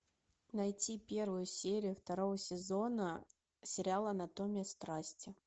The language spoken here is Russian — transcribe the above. найти первую серию второго сезона сериала анатомия страсти